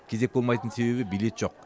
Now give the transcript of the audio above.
кезек болмайтын себебі билет жоқ